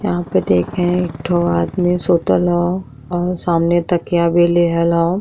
यहां पे देखे एक ठो आदमी सुतल ह और सामने तकिया भी लेल हल।